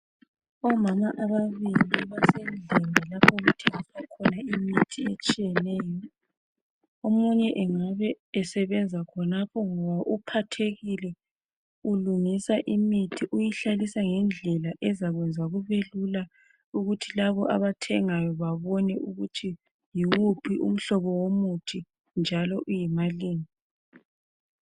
Omama ababili basendlini lapho kuthengiswa khona imithi etshiyeneyo , omunye engabe esebenza khonapho ngoba uphathekile ulungisa imithi, uyihlalisa ngendlela ezakwenza kubelula ukuthi labo abathengayo babone ukuthi yiwuphi umhlobo womuthi njalo uyimalini.